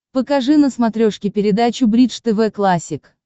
покажи на смотрешке передачу бридж тв классик